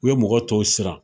U ye mɔgɔ tɔw siran.